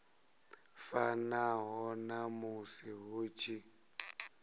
fanaho na musi hu tshi